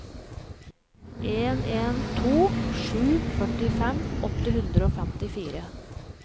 en en to sju førtifem åtte hundre og femtifire